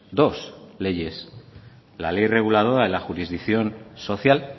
dos leyes la ley reguladora de la jurisdicción social